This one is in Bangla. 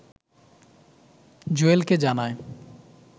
জুয়েলকে জানায়